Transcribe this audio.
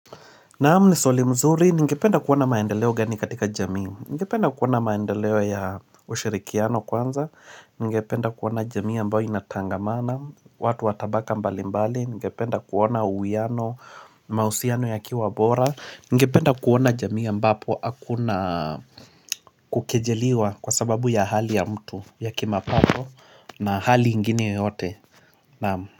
Naam ni swali mzuri, ningependa kuona maendeleo gani katika jamii? Ningependa kuona maendeleo ya ushirikiano kwanza Ningependa kuona jamii ambayo inatangamana watu wa tabaka mbali mbali Ningependa kuona uwiano, mausiano yakiwa bora Ningependa kuona jamii ambapo hakuna kukejeliwa kwa sababu ya hali ya mtu ya kimapato na hali ingine yoyote Naam.